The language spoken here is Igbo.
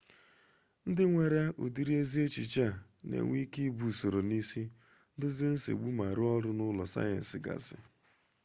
ndị nwere ụdịrị ezi echiche a na-enwe ike ibu usoro n'isi dozie nsogbu ma rụọ ọrụ n'ule sayensị gasị